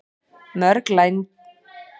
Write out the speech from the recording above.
Mörg lærdómsritanna eru til á helstu bókasöfnum.